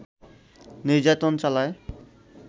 নির্যাতন চালায়